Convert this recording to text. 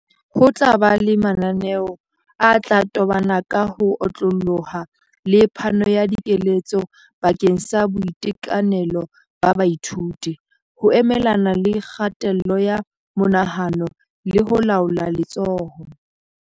Ho tla ba le mananeo a tla tobana ka ho otlolloha le phano ya dikeletso bakeng sa boitekanelo ba baithuto, ho emelana le kgatello ya monahano le ho laola letshoho.